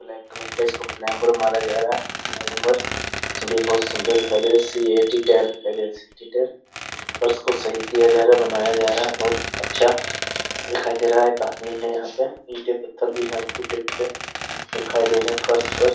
Black colour का इसको पलंबर मारा जा रहा है । पलंबर इसलिए बहोत सुंदर दिखाई दे रहा है । सीएटी कैट दिखाई दे रहा है । सीएटी कैट और सही किया जा रहा है बनाया जा रहा है बहोत अच्छा दिखाई दे रहा है एक आदमी है यहाँ पे दिखाई दे रहे फर्श पर --